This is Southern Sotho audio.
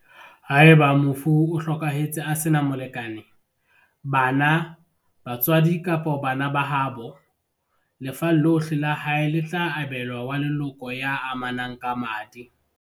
Haeba mofu o hlokahetse a sena molekane, bana, ba tswadi kapa bana ba haabo, lefa lohle la hae le tla abe lwa wa leloko ya amanang ka madi.